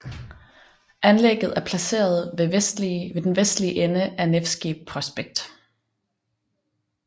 Anlægget er placeret ved den vestlige ende af Nevskij Prospekt